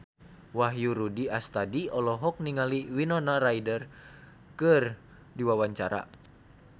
Wahyu Rudi Astadi olohok ningali Winona Ryder keur diwawancara